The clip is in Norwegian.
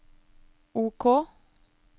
OK